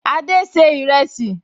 Adé ṣe ìrẹsì